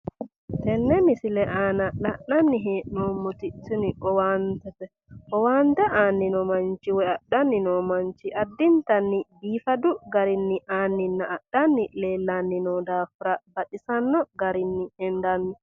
Tenns misile aana la'nanni hee'noommoti tini owaantete, owaante aanni noo manchi woy adhanni no manchi addintanni biifadu garinni aanninna adhanni leellanni no daafira baxisanno garinni hendanni